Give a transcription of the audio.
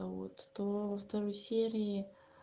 а вот то во второй серии